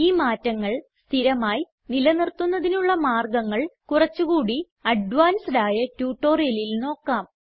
ഈ മാറ്റങ്ങൾ സ്ഥിരമായി നിലനിർത്തുന്നതിനുള്ള മാർഗങ്ങൾ കുറച്ച് കൂടി അഡ്വാൻസ്ഡ് ആയ ട്യൂട്ടോറിയലിൽ നോക്കാം